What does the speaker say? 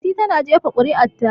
Fati ta na jefa kuri'ar ta